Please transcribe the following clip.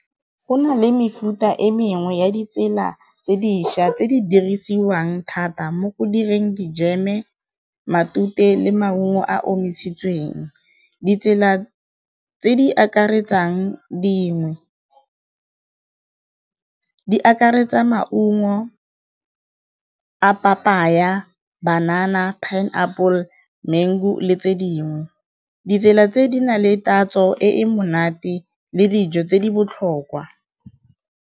Go na le mefuta e mengwe ya ditsela tse dišwa tse di dirisiwang thata mo go direng dijeme, matute le maungo a a omisitsweng. Ditsela tse di akaretsang dingwe, di akaretsa maungo a papaya, banana pineapple, mango le tse dingwe. Ditsela tse di na le tatso e monate le dijo tse di botlhokwa.